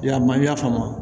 Yalima i y'a faamu